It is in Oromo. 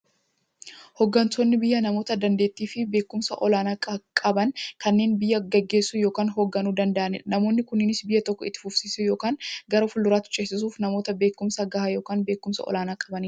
Hooggantoonni biyyaa namoota daandeettiifi beekumsa olaanaa qaban, kanneen biyya gaggeessuu yookiin hoogganuu danda'aniidha. Namoonni kunis, biyya tokko itti fufsiisuuf yookiin gara fuulduraatti ceesisuuf, namoota beekumsa gahaa yookiin beekumsa olaanaa qabaniidha.